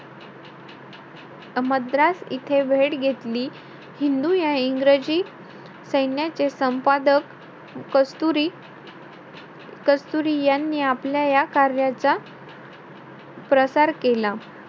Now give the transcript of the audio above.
मद्रास इथे भेट घेतली. हिंदू या इंग्रजी सैन्याचे संपादक कस्तुरी~ कस्तुरी यांनी आपल्या या कार्याच्या प्रचार केला.